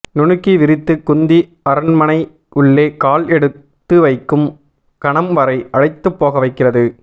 நுணுக்கி விரித்து குந்தி அரண்மனை உள்ளே கால் எடுத்து வைக்கும் கணம் வரை அழைத்து போக வைக்கிறது